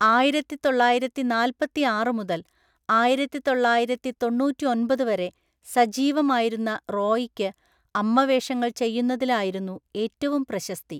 ആയിരത്തിതൊള്ളായിരത്തിനാല്പത്തിയാറു മുതൽ ആയിരത്തിതൊള്ളായിരത്തിതൊണ്ണൂറ്റൊമ്പത്‌ വരെ സജീവമായിരുന്ന റോയിക്ക് അമ്മവേഷങ്ങൾ ചെയ്യുന്നതിലായിരുന്നു ഏറ്റവും പ്രശസ്തി.